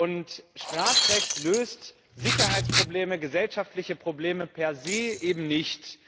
Und Strafrecht löst Sicherheitsprobleme, gesellschaftliche Probleme per se eben nicht.